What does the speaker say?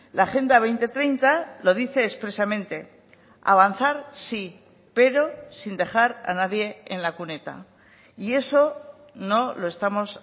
la agenda dos mil treinta lo dice expresamente avanzar sí pero sin dejar a nadie en la cuneta y eso no lo estamos